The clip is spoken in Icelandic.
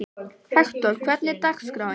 Hektor, hvernig er dagskráin?